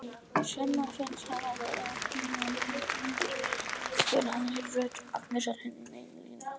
Svenna finnst hann vera að hníga niður þegar hann heyrir rödd Agnesar hinum megin línunnar.